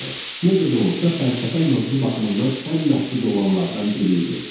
Necə də olsa, fəlsəfə mövzu baxımından ən məhdud olanlardan biri idi.